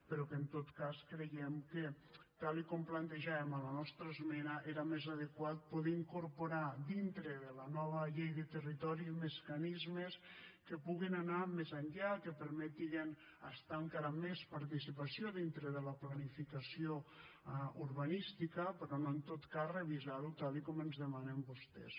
però en tot cas creiem que tal com ho plantejàvem a la nostra esmena era més adequat poder incorporar dintre de la nova llei de territori mecanismes que puguin anar més enllà que permeten estar encara amb més participació dintre de la planificació urbanística però no en tot cas revisar ho tal com ens demanen vostès